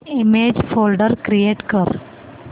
image folder create कर